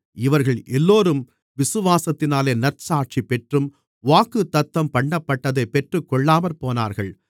இவர்கள் எல்லோரும் விசுவாசத்தினாலே நற்சாட்சிபெற்றும் வாக்குத்தத்தம் பண்ணப்பட்டதை பெற்றுக்கொள்ளாமற்போனார்கள்